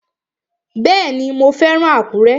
Bẹ́ẹ̀ni, mo fẹ́ràn Àkúrẹ́